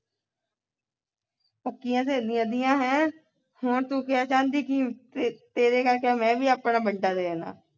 ਪੱਕੀਆਂ ਸਹੇਲੀਆਂ ਦੀਆਂ ਹੈ ਕੌਣ ਤੂੰ ਕਿਆ ਚਾਂਦੀ ਕਿ ਤੇ ਤੇਰੇ ਕਰਕੇ ਮੈਂ ਵੀ ਆਪਣਾ ਬੰਦਾ ਦੇ ਦੇਣਾ